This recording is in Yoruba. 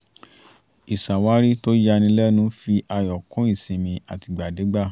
ìṣàwárí tó ya ni lẹ́nu fi ayọ̀ kún ìsinmi àtìgbàdégbà